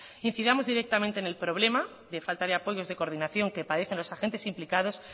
incidamos directamente en el problema de falta de apoyos de coordinación que padecen los agentes implicados